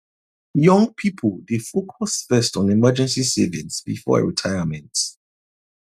young people dey focus first on emergency savings before retirement